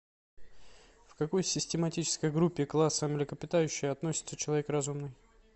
в какой систематической группе класса млекопитающие относится человек разумный